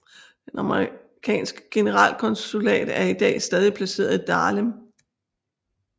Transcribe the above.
Det amerikanske generalkonsulat er i dag stadig placeret i Dahlem